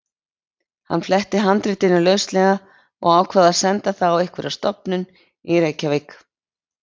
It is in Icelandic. Hann fletti handritinu lauslega og ákvað að senda það á einhverja stofnun í Reykjavík.